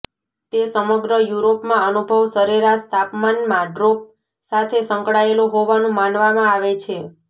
તે સમગ્ર યુરોપમાં અનુભવ સરેરાશ તાપમાનમાં ડ્રોપ સાથે સંકળાયેલો હોવાનું માનવામાં આવે છે